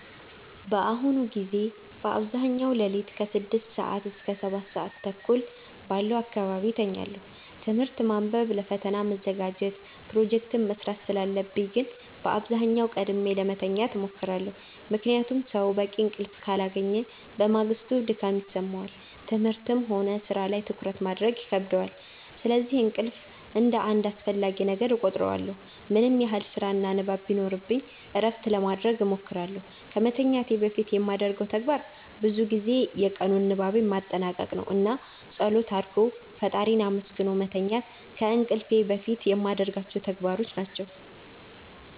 በአሁኑ ጊዜ በአብዛኛው ሌሊት ከ6 ሰዓት እስከ 7:30 ባለው አካባቢ እተኛለሁ። ትምህርት ማንበብ ለፈተና መዘጋጀት ፕሮጀክት መስራት ስላለብኝ ግን በአብዛኛው ቀድሜ ለመተኛት እሞክራለሁ። ምክንያቱም ሰው በቂ እንቅልፍ ካላገኘ በማግስቱ ድካም ይሰማዋል፣ ትምህርትም ሆነ ሥራ ላይ ትኩረት ማድረግ ይከብደዋል። ስለዚህ እንቅልፍን እንደ አንድ አስፈላጊ ነገር እቆጥረዋለሁ። ምንም ያህል ስራና ንባብ ቢኖርብኝ እረፍት ለማረግ እሞክራለሁ። ከመተኛቴ በፊት የማደርገው ተግባር ብዙ ጊዜ የቀኑን ንባቤን ማጠናቀቅ ነው። እና ፀሎት አርጎ ፈጣሪን አመስግኖ መተኛት ከእንቅልፍ በፊት የማረጋቸው ተግባሮች ናቸው።